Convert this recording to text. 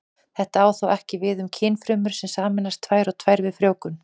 Þetta á þó ekki við um kynfrumur sem sameinast tvær og tvær við frjóvgun.